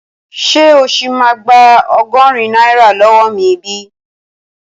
Ṣé o sì máa gba ọgọ́rin náírà lọ́wọ́ mi bi?